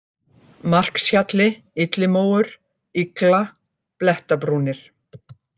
Markshjalli, Illimóur, Yggla, Blettabrúnir